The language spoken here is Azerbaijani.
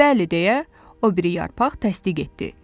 Bəli deyə o biri yarpaq təsdiq etdi.